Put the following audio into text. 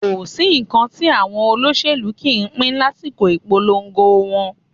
Kò sí nǹkan tí àwọn olóṣèlú kì í ń pín lásìkò ìpolongo wọn